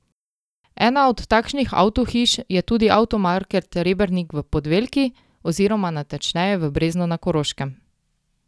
Ena od takšnih avtohiš je tudi Avtomarket Rebernik v Podvelki oziroma natančneje v Breznu na Koroškem.